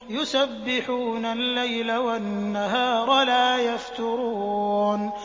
يُسَبِّحُونَ اللَّيْلَ وَالنَّهَارَ لَا يَفْتُرُونَ